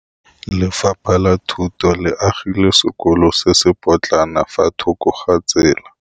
Lefapha la Thuto le agile sekôlô se se pôtlana fa thoko ga tsela.